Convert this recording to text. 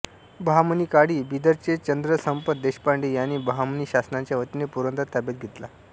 बहामनीकाळी बीदरचे चंद्रसंपत देशपांडे यांनी बहामनी शासनाच्या वतीने पुरंदर ताब्यात घेतला